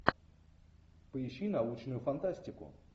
поищи научную фантастику